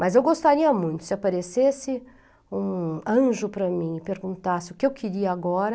Mas eu gostaria muito se aparecesse um anjo para mim e perguntasse o que eu queria agora.